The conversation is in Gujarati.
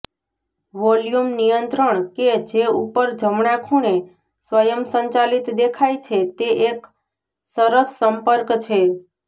વોલ્યુમ નિયંત્રણ કે જે ઉપર જમણા ખૂણે સ્વયંચાલિત દેખાય છે તે એક સરસ સંપર્ક છે